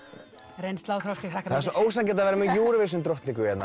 reynsla og þroski ég þakka fyrir það er svo ósanngjarnt að vera með Eurovision drottningu hérna